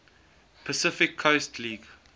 pacific coast league